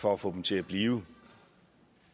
for at få dem til at blive